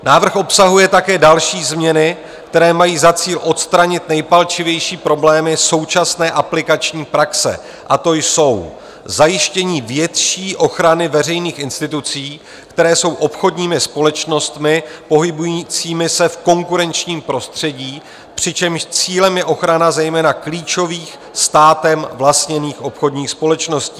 Návrh obsahuje také další změny, které mají za cíl odstranit nejpalčivější problémy současné aplikační praxe, a to jsou: zajištění větší ochrany veřejných institucí, které jsou obchodními společnostmi pohybujícími se v konkurenčním prostředí, přičemž cílem je ochrana zejména klíčových státem vlastněných obchodních společností.